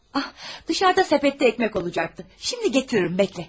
Ah, çöldə səbətdə çörək olacaqdı, indi gətirərəm, gözlə.